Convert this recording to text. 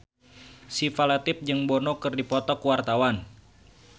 Syifa Latief jeung Bono keur dipoto ku wartawan